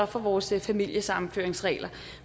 for vores familiesammenføringsregler